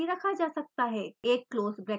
एक close bracket लगाएं